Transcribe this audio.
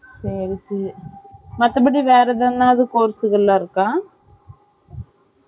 செரி செரி மத்தப்படி வேற எதுனாது course இதுலாம் இருக்கா